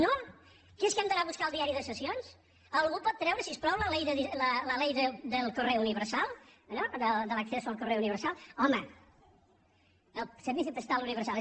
no que és que hem d’anar a buscar el diari de sessions algú pot treure si us plau la ley del correo universal no de l’acceso al correo universal home del postal universal